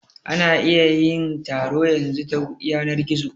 Ana iya yin taro yanzu ta yanar gizo